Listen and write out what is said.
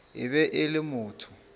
e be e le motho